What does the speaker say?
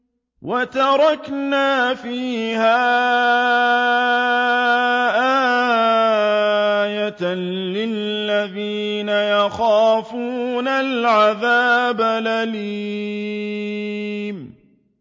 وَتَرَكْنَا فِيهَا آيَةً لِّلَّذِينَ يَخَافُونَ الْعَذَابَ الْأَلِيمَ